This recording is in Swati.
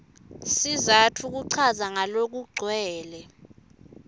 sizatfu kuchaza ngalokugcwele